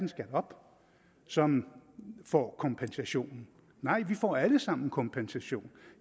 op som får kompensationen nej vi får alle sammen kompensation